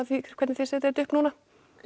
hvernig þið setjið þetta upp núna